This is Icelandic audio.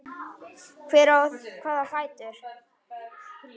Hver á hvaða fætur?